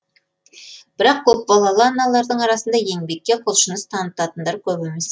бірақ көпбалалы аналардың арасында еңбекке құлшыныс танытатындар көп емес